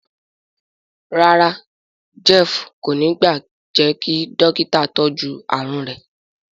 ràrá Jeff kò ní gba jé kí Dọ́kítà tọjú àrùn rẹ.